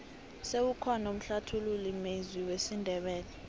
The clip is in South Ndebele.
sewukhona umhlathululi mezwi wesindebele